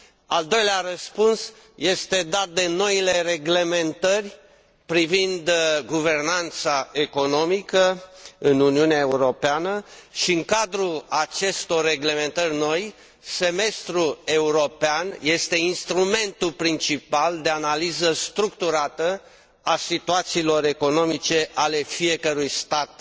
Al doilea răspuns este dat de noile reglementări privind guvernanța economică în Uniunea Europeană și în cadrul acestor reglementări noi, Semestrul european este instrumentul principal de analiză structurată a situațiilor economice ale fiecărui stat